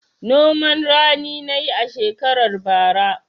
Noman rani na yi a shekarar bara.